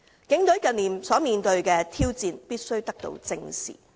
警隊近年所面對的挑戰必須得到正視。